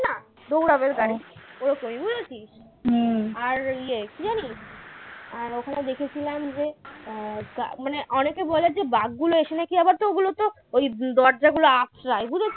দৌড়াবে গাড়ি ওরকমই বুঝেছিস? আর ইয়ে কী জানি আর ওখানে দেখেছিলাম যে আহ মানে অনেকে বলেছে বাঘ গুলো এসে নাকি আবার তো ওগুলো তো ওই দরজা গুলো আঁচড়ায় বুঝেছিস?